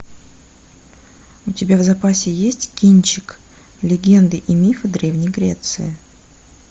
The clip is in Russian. у тебя в запасе есть кинчик легенды и мифы древней греции